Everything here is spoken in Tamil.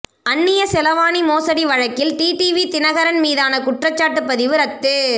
அந்திய செலாவணி மோசடி வழக்கில் டிடிவி தினகரன் மீதான குற்றச்சாட்டு பதிவு ரத்து